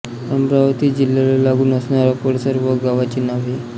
अमरावती जिल्ह्याला लागून असणारा परिसर व गावांची नावे